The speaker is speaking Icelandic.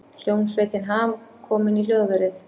Hljómsveitin Ham komin í hljóðverið